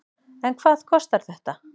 En hvað kostar þetta?